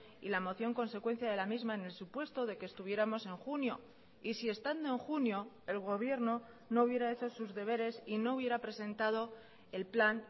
y la moción consecuencia de la misma en el supuesto de que estuviéramos en junio y si estando en junio el gobierno no hubiera hecho sus deberes y no hubiera presentado el plan